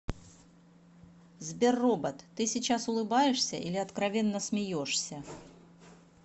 сбер робот ты сейчас улыбаешься или откровенно смеешься